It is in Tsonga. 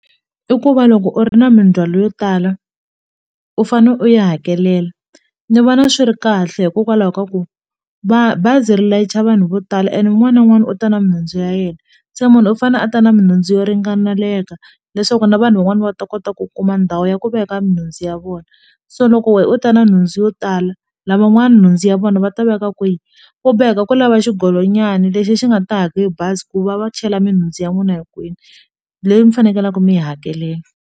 I ku va loko u ri na mindzhwalo yo tala u fane u yi hakelela ni vona swi ri kahle hikokwalaho ka ku bazi ri layicha vanhu vo tala and un'wana na un'wana u ta na minhundzu ya yena se munhu u fanele a ta na minhundzu yo ringaneleka leswaku na vanhu van'wani va ta kota ku kuma ndhawu ya ku veka nhundzu ya vona so loko wena u ta na nhundzu yo tala lavan'wana nhundzu ya vona va ta veka kwihi u boheka ku lava xigolonyana lexi xi nga ta haka e bazi ku va va chela minhundzu ya n'wina hinkwenu leyi mi fanekele mi yi hakelela.